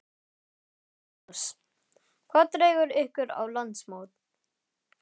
Magnús: Hvað dregur ykkur á landsmót?